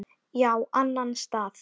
Já, annan stað.